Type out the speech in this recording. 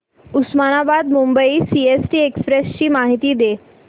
Osmanabad Mumbai CST express ची माहिती दे